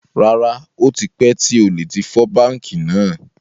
Rárá, ó tipẹ́ tí olè tí fọ́ báńkì náà.